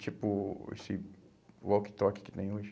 Tipo esse walkie-talkie que tem hoje.